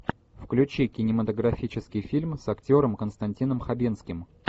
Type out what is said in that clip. включи кинематографический фильм с актером константином хабенским